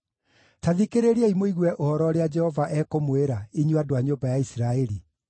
Ta thikĩrĩriai mũigue ũhoro ũrĩa Jehova ekũmwĩra, inyuĩ andũ a nyũmba ya Isiraeli.